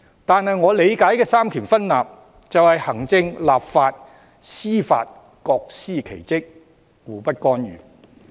然而，我理解的三權分立就是行政、立法、司法各司其職，互不干預。